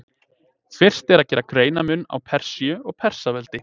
fyrst er að gera greinarmun á persíu og persaveldi